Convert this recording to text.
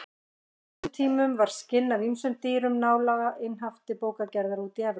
Á þessum tímum var skinn af ýmsum dýrum nálega einhaft til bókagerðar úti í Evrópu.